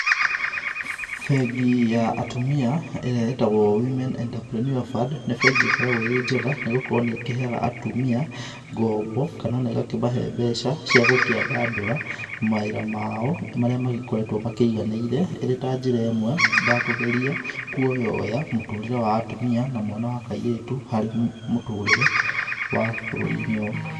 Bengi ya atumia ĩrĩa ĩtagwo Women Entrepreneur Fund, nĩ bengĩ ĩkoragwo ĩrĩ njega nĩ gũkorwo nĩ ĩkĩheaga atũmĩa ngombo kana ona ĩgakĩmahe mbeca cia gũkĩandandũra mawĩra mao marĩa magĩkoretwo makĩganaĩre ĩrĩ ta njĩra ĩmwe ya kũgerĩa kũyoya mũtũrĩre wa atumia na mwana wa kaĩrĩtu harĩ mũtũrire wa bũrũri-inĩ ũyũ.